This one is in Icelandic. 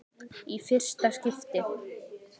Í fyrsta skipti.